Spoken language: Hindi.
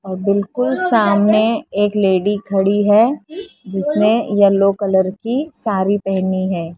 और बिल्कुल सामने एक लेडी खड़ी है जिसने येलो कलर की सारी पहनी है।